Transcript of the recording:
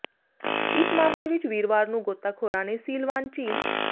ਇਸ ਮਾਮਲੇ ਵਿੱਚ ਵੀਰਵਾਰ ਨੂੰ ਗੋਤਾਖੋਰਾਂ ਨੇ ਸਿਲਵਾਨ ਝੀਲ